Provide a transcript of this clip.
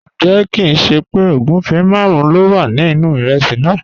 Njẹ̀, kìn ṣé pẹ́ ogunfẹ́ màrùn ló wà ní inu ìrèsí náà?